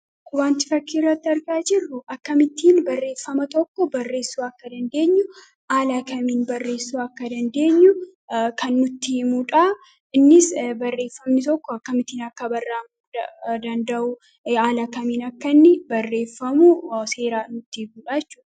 kuwanti fakkiirratti argaa jirru akka mittiin barreeffama tokko barreessuu akka dandeenyu aalaakamiin barreessuu akka dandeenyu kan nutti mudhaa innis barreeffamni tokko akka mittiin akka barraam danda'uu aalaakamiin akka inni barreeffamuu seeraa nutti mudhaachu